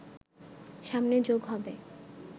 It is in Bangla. সামনে যোগ হবে